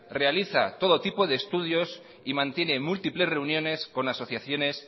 realiza todo tipo de estudios y mantiene múltiples reuniones con asociaciones